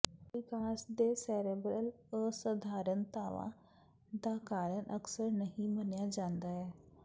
ਵਿਕਾਸ ਦੇ ਸੇਰੇਬ੍ਰਲ ਅਸਧਾਰਨਤਾਵਾਂ ਦਾ ਕਾਰਨ ਅਕਸਰ ਨਹੀਂ ਮੰਨਿਆ ਜਾਂਦਾ ਹੈ